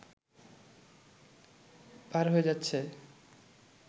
পার হয়ে যাচ্ছে